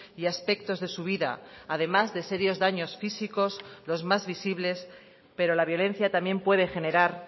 y aspectos de su vida además de serios daños físicos los más visibles pero la violencia también puede generar